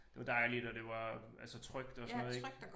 Det var dejligt og det var altså trygt og sådan noget ik